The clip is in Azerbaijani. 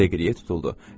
Deqriye tutuldu.